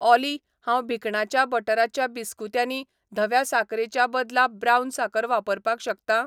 ऑली हांव भिकणाच्या बटराच्या बिस्कुत्यांनी धव्या साकरेच्या बदला ब्राऊन साकर वापरपाक शकतां?